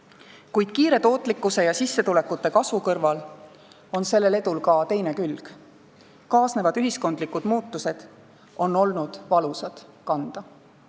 Kuid tootlikkuse ja sissetulekute kiire kasvu kõrval on sel edul ka teine külg – kaasnevad ühiskondlikud muutused on olnud valusad kanda.